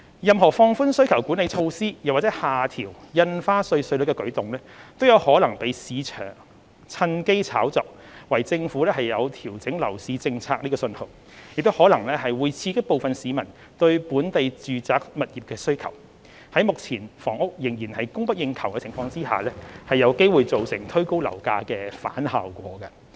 任何放寬需求管理措施或下調印花稅稅率的舉動，均可能被市場趁機炒作為政府調整樓市政策的訊號，亦可能會刺激部分市民對本地住宅物業的需求，在目前房屋仍然供不應求的情況下，有機會造成推高樓價的反效果。